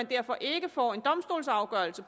derfor ikke får en domstolsafgørelse